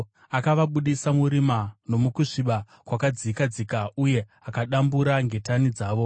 Akavabudisa murima nomukusviba kwakadzika dzika, uye akadambura ngetani dzavo.